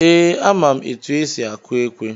Ee, ama m etu esi akụ ekwe.